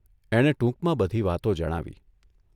એણે ટૂંકમાં બધી વાતો જણાવી.